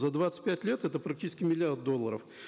за двадцать пять лет это практически миллиард долларов